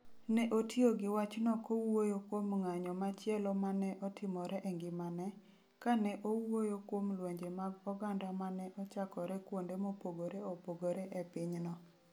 Ne otiyo gi wachno kowuoyo kuom ng'anyo machielo ma ne otimore e ngimane, kane owuoyo kuom lwenje mag oganda ma ne ochakore kuonde mopogore opogore e pinyno.